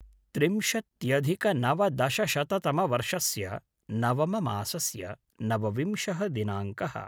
त्रिंशत्यधिकनवदशशततमवर्षस्य नवममासस्य नवविंशः दिनाङ्कः